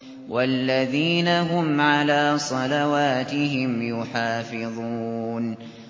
وَالَّذِينَ هُمْ عَلَىٰ صَلَوَاتِهِمْ يُحَافِظُونَ